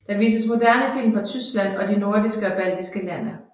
Der vises moderne film fra Tyskland og de nordiske og baltiske lande